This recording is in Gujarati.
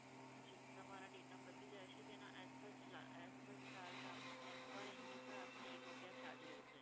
જી તમારા data પતી જાય છે તેનાં as per charge આપનો એમ per MB પર આપના એક રૂપિયા charge રહેશે.